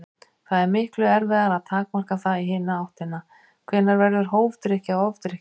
Það er miklu erfiðara að takmarka það í hina áttina: Hvenær verður hófdrykkja að ofdrykkju?